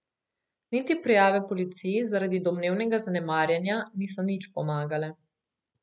Niti prijave policiji zaradi domnevnega zanemarjanja niso nič pomagale.